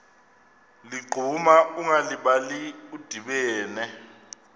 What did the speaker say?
ligquma ungalibali udibene